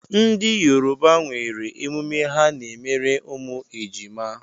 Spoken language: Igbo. Ndị Yoruba nwere emume ha n'emere ụmụ ejima.